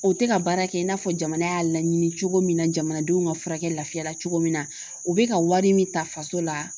O tɛ ka baara kɛ i n'a fɔ jamana y'a laɲini cogo min na jamanadenw ka furakɛ lafiyara cogo min na u bɛ ka wari min ta faso la